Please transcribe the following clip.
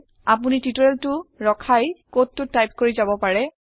আপোনি টিওটৰিয়েলটো ৰখাই কডটো টাইপ কৰি যাব পাৰে